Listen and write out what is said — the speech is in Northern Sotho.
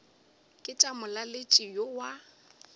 ke tša molaletši yo wa